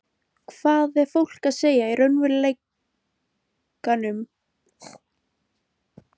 Hvað er fólk að segja í raunveruleikanum um Ísland?